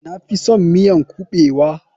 Na fison miyan kuɓewa.